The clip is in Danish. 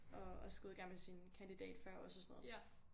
Og også gået i gang med sin kandidat før os og sådan noget